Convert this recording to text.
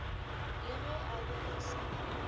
le ge a be asa